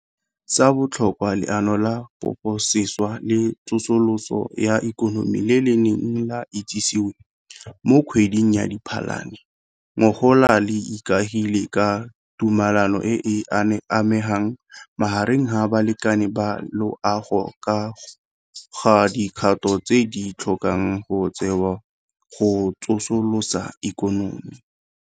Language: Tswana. Sa botlhokwa, Leano la Poposešwa le Tsosoloso ya Ikonomi le le neng la itsisiwe mo kgweding ya Diphalane ngogola le ikaegile ka tumalano e e anameng magareng ga balekane ba loago ka ga dikgato tse di tlhokang go tsewa go tsosolosa ikonomi.